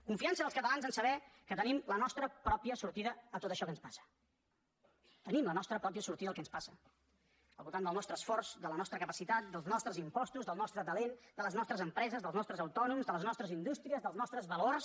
confiança dels catalans a saber que tenim la nostra pròpia sortida a tot això que ens passa tenim la nostra pròpia sortida al que ens passa al voltant del nostre esforç de la nostra capacitat dels nostres impostos del nostre talent de les nostres empreses dels nostres autònoms de les nostres indús tries dels nostres valors